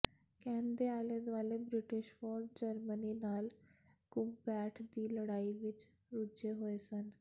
can ਦੇ ਆਲੇ ਦੁਆਲੇ ਬ੍ਰਿਟਿਸ਼ ਫ਼ੌਜ ਜਰਮਨੀ ਨਾਲ ਘੁਸਪੈਠ ਦੀ ਲੜਾਈ ਵਿਚ ਰੁੱਝੇ ਹੋਏ ਸਨ